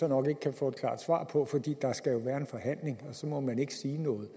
nok ikke kan få et klart svar på fordi der jo skal være en forhandling og så må man ikke sige noget